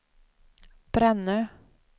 Brännö